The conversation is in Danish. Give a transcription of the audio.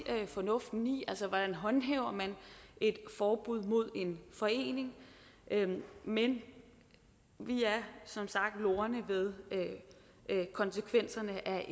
fornuften i altså hvordan håndhæver man et forbud mod en forening men vi er som sagt lorne ved konsekvenserne af